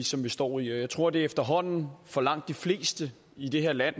som vi står i jeg tror det efterhånden for langt de fleste i det her land